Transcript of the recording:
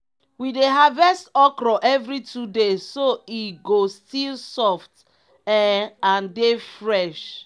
we dey harvest okro every two days so e go still soft um and dey fresh.